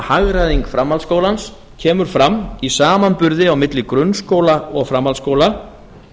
hagræðing framhaldsskólans kemur fram í samanburði á milli grunnskóla og framhaldsskóla